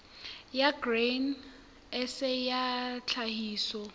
ya grain sa ya tlhahiso